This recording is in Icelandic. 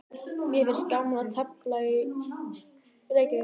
Mér finnst gaman að tefla í Keflavík.